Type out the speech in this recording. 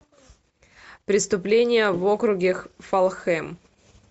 преступление в округе фалхэм